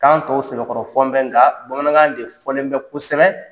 Kan tɔw sɛbɛkɔrɔ fɔn bɛ nka bamanankan de fɔlen bɛ kosɛbɛ